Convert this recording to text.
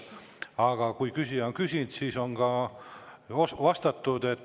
Aga kui küsija on küsinud, siis on ka vastatud.